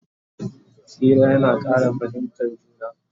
Hira yana Ƙara fahimtan juna